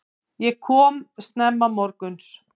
Ég kom snemma morguns.